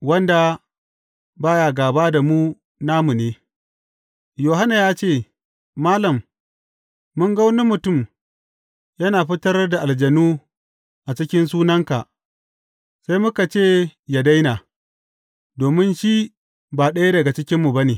Wanda ba ya gāba da mu, namu ne Yohanna ya ce, Malam mun ga wani mutum yana fitar da aljanu a cikin sunanka, sai muka ce yă daina, domin shi ba ɗaya daga cikinmu ba ne.